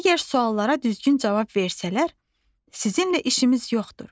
Əgər suallara düzgün cavab versələr, sizinlə işimiz yoxdur.